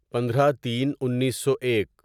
پندرہ تین انیسو ایک